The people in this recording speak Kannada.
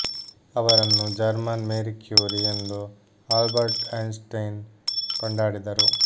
ಅವರನ್ನು ಜರ್ಮನ್ ಮೇರಿ ಕ್ಯೂರಿ ಎಂದು ಆಲ್ಬರ್ಟ್ ಐನ್ಟ್ಸೈನ್ ಕೊಂಡಾಡಿದರು